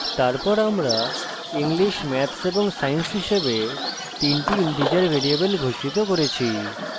তারপর আমরা english maths এবং science হিসেবে তিনটি ইন্টিজার ভ্যারিয়েবল ঘোষিত করেছি